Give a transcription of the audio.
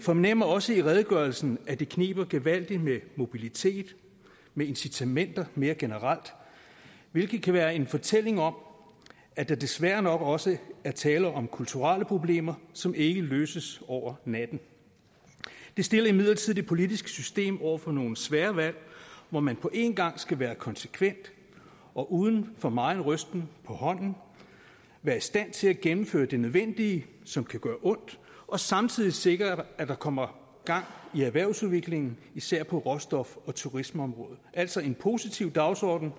fornemmer også i redegørelsen at det kniber gevaldigt med mobilitet og incitamenter mere generelt hvilket kan være en fortælling om at der desværre nok også er tale om kulturelle problemer som ikke løses over natten det stiller imidlertid det politiske system over for nogle svære valg hvor man på en gang skal være konsekvent og uden for megen rysten på hånden være i stand til at gennemføre det nødvendige som kan gøre ondt og samtidig sikre at der kommer gang i erhvervsudviklingen især på råstof og turismeområdet altså en positiv dagsorden